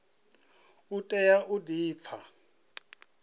u tea u di pfa